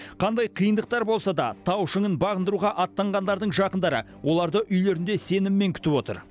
қандай қиындықтар болса да тау шыңын бағындыруға аттанғандардың жақындары оларды үйлерінде сеніммен күтіп отыр